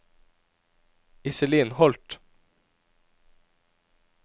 Iselin Holth